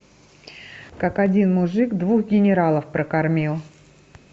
как один мужик двух генералов прокормил